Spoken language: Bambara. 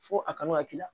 Fo a kanu ka k'i la